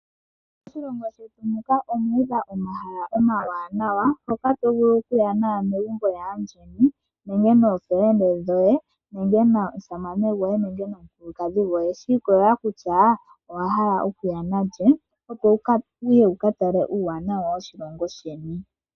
Moshilongo shetu muka omu udha omahala omawanawa mpoka to vulu okuya naanegumbo lyaandjeni, ookume koye nenge omusamane goye nenge omukulukadhi goye. Shi ikolelela kutya owa hala okuya na lye, opo wu ka tale uuwanawa woshilongo sheni.